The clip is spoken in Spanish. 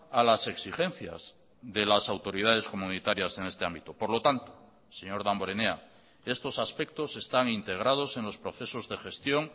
a las exigencias de las autoridades comunitarias en este ámbito por lo tanto señor damborenea estos aspectos están integrados en los procesos de gestión